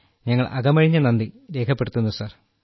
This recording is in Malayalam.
ഞങ്ങൾ അകമഴിഞ്ഞ നന്ദി രേഖപ്പെടുത്തുന്നു സർ